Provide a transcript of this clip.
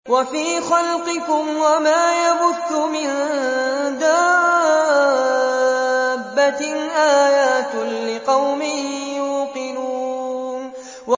وَفِي خَلْقِكُمْ وَمَا يَبُثُّ مِن دَابَّةٍ آيَاتٌ لِّقَوْمٍ يُوقِنُونَ